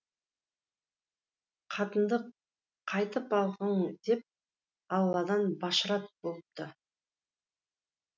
қатынды қайтып алғың деп алладан башрат болыпты